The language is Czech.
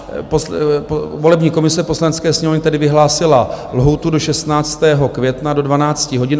Volební komise Poslanecké sněmovny tedy vyhlásila lhůtu do 16. května do 12 hodin.